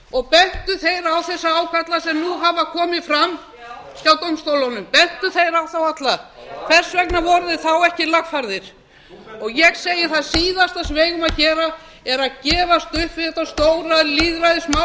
og bentu þeir á þessa ágalla sem nú hafa komið fram já hjá dómstólunum bentu þeir á þá alla já hvers vegna voru þeir þá ekki lagfærðir þú ég segi það síðasta sem við eigum að gera er að gefast upp við þetta stóra lýðræðismál sem þjóðin